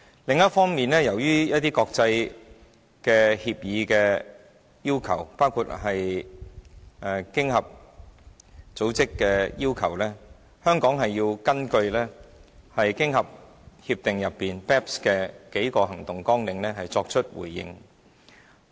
另一方面，由於一些國際協議的要求，包括經合組織的要求，香港要根據經合協定就 BEPS 的數個行動計劃，作出回應。